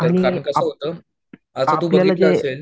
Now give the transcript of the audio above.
आपल्याला जे.